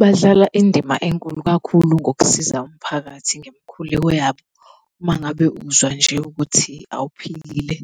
Badlala indima enkulu kakhulu ngokusiza umphakathi ngemikhuleko yabo. Uma ngabe uzwa nje ukuthi awuphilile,